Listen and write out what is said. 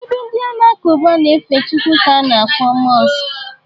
Ebe ndị Alakụba na-efe chukwu ka a na-akpọ mọsk